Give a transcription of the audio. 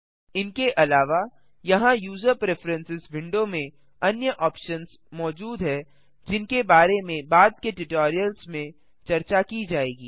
इनके अलावा यहाँ यूज़र प्रिफ्रेरेंसेस विंडो में अन्य ऑप्शन्स मौजूद हैं जिनके बारे में बाद के ट्यूटोरियल्स में चर्चा की जाएगी